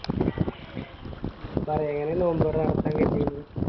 മ്മ് പറ എങ്ങനെ നോമ്പുറ നടത്താൻ കരുതിയിന്